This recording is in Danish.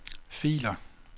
filer